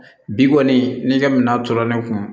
Bi kɔni n'i ka minan tora ne kun na